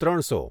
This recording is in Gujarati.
ત્રણસો